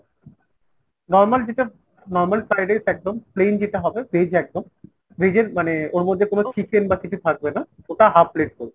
normal যেটা normal fried rice একদম। plain যেটা হবে veg একদম। veg এর মানে ওর মধ্যে কোনো chicken বা কিছু থাকবে না। ওটা half plate ধরুন।